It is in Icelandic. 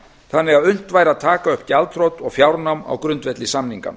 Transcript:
þannig að unnt væri að taka upp gjaldþrot og fjárnám á grundvelli samninganna